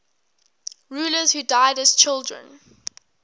rulers who died as children